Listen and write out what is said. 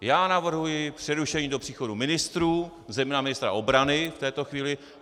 Já navrhuji přerušení do příchodu ministrů, zejména ministra obrany v této chvíli.